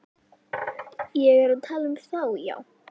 Ég er að tala um þá, já.